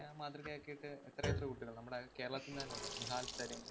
ആഹ് മാതൃകയാക്കിയിട്ട് എത്രയെത്ര കുട്ടികള്‍. നമ്മുടെ കേരളത്തില്‍ നിന്ന് തന്നെയുണ്ട്‌. നിഹല്‍ സരീം.